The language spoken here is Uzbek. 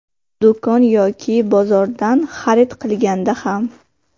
Do‘kon yoki bozordan xarid qilganda ham.